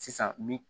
Sisan mi